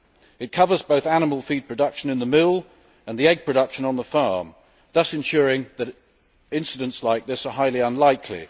It covers both animal feed production in the mill and egg production on the farm, thus ensuring that incidents like this are highly unlikely.